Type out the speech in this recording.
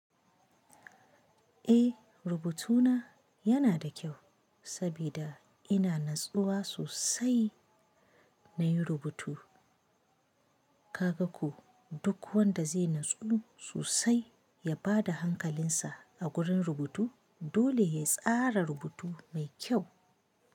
Eh, rubutuna.yana da kyau saboda ina natsuwa sosai na yi rubutu. Kaga ko, duk wanda zai natsuwa sosai ya ba da hankalinsa a gurin rubutu dole ya tsara rubutu mai kyau.